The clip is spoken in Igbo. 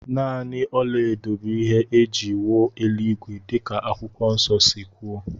Nanị ọlaedo bụ ihe é jị wuo eluigwe dika akwụkwọ nso si kwuo